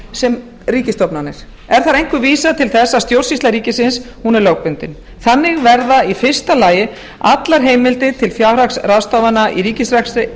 sem ríkisstofnanir er þar einkum vísað til þess að stjórnsýsla ríkisins er lögbundin þannig verða í fyrsta lagi allar heimildir til fjárhagsráðstafana í ríkisrekstri